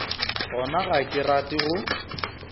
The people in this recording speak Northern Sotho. gona ga ke rate go